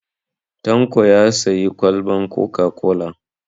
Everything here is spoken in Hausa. Tanko ya sayi kwalban coca-cola.